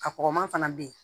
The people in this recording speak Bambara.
A kɔgɔman fana bɛ yen